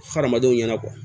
Hadamadenw ɲɛnabɔ